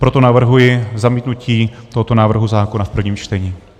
Proto navrhuji zamítnutí tohoto návrhu zákona v prvním čtení.